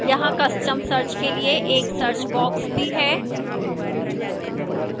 यहां custom search के लिए एक search box भी है